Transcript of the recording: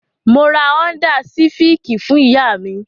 Mo ra Ọ́ńdá sifìkì fún ìyá mi.